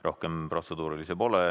Rohkem protseduurilisi küsimusi ei ole.